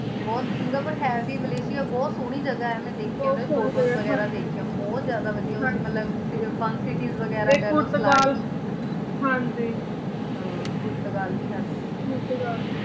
ਬੋਹਤ ਸਿੰਗਾਪੋਰੇ ਹੈ ਵੀ ਮਾਲਾਯ੍ਸਿਆ ਬੋਹਤ ਸੋਹਨੀ ਜਗਾ ਆਯ ਮੈਂ ਦੇਖੀ ਹਾਂਜੀ ਬੋਹਤ ਜਿਆਦਾ ਵਾਦਿਯ ਮਤਲਬ fun cities ਵੇਗਿਰਾ ਤੇ ਪੁਰਤਗਾਲ ਹਾਂਜੀ ਹਾਂ ਪੁਰਤਗਾਲ ਵੀ ਹਾਂਜੀ ਪੁਰਤਗਾਲ